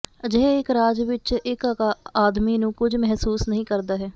ਅਜਿਹੇ ਇੱਕ ਰਾਜ ਵਿੱਚ ਇੱਕ ਆਦਮੀ ਨੂੰ ਕੁਝ ਮਹਿਸੂਸ ਨਹੀ ਕਰਦਾ ਹੈ